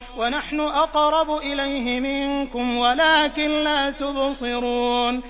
وَنَحْنُ أَقْرَبُ إِلَيْهِ مِنكُمْ وَلَٰكِن لَّا تُبْصِرُونَ